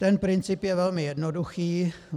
Ten princip je velmi jednoduchý.